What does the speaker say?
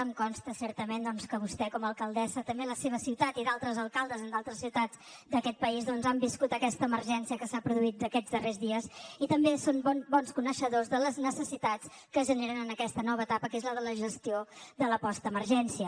em consta certament que vostè com a alcaldessa també de la seva ciutat i altres alcaldes en d’altres ciutats d’aquest país doncs han viscut aquesta emergència que s’ha produït aquests darrers dies i també són bons coneixedors de les necessitats que es generen en aquesta nova etapa que és la de la gestió de la postemergència